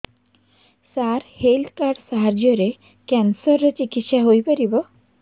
ସାର health card ସାହାଯ୍ୟରେ cancer ର ଚିକିତ୍ସା ହେଇପାରିବ